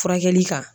Furakɛli kan